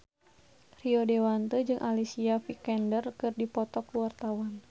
Rio Dewanto jeung Alicia Vikander keur dipoto ku wartawan